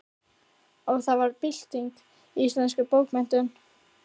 Og það varð bylting í íslenskum bókmenntum.